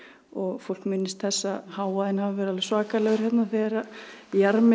og fólk minnist þess að hávaðinn hafi verið alveg svakalegur hérna þegar